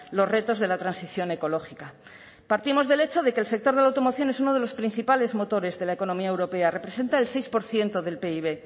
los retos de la transición ecológica partimos del hecho de que el sector de la automoción es uno de los principales motores de la economía europea representa el seis por ciento del pib